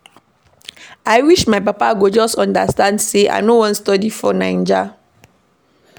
I wish my papa go just understand sey I no wan study for Naija.